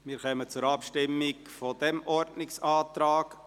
Wir kommen zur Abstimmung dieses Ordnungsantrags.